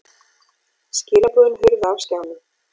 Skilaboðin hurfu af skjánum.